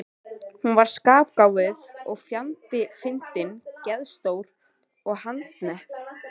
Hún var skarpgáfuð og fjandi fyndin, geðstór og handnett.